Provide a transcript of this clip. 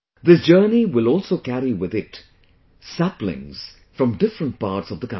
This journey will also carry with it saplings from different parts of the country